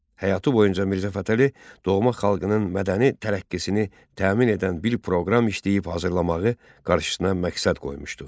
Həyatı boyunca Mirzə Fətəli doğma xalqının mədəni tərəqqisini təmin edən bir proqram işləyib hazırlamağı qarşısına məqsəd qoymuşdu.